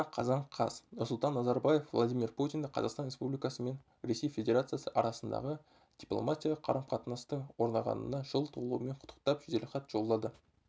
астана қазан қаз нұрсұлтан назарбаев владимир путинді қазақстан республикасы мен ресей федерациясы арасындағы дипломатиялық қарым-қатынастың орнағанына жыл толуымен құттықтап жеделхат жолдады